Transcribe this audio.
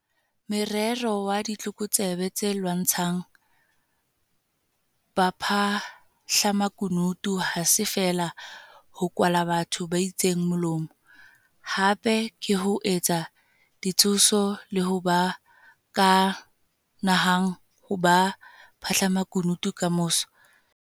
Morero wa ditlokotsebe tse lwantshang baphahlamaku nutu ha se feela ho kwala batho ba itseng molomo - hape ke ho etsa ditshoso le ho ba ka nahang ho ba baphahlamakunutu kamoso.